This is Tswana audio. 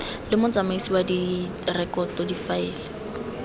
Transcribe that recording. le motsamaisi wa direkoto difaele